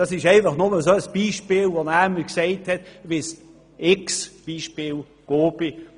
Das ist einfach eines von vielen Beispielen, die unser Gemeindeverwalter kennt.